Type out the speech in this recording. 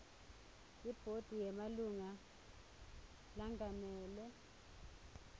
ibhodi yemalunga lengamele